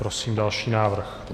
Prosím další návrh.